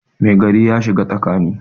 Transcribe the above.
Mai gari ya shiga tsakani